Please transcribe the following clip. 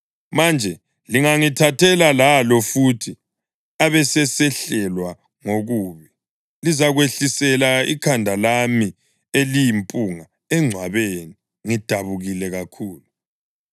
Manje lingangithathela lalo futhi abesesehlelwa ngokubi, lizakwehlisela ikhanda lami eliyimpunga engcwabeni ngidabukile kakhulu.’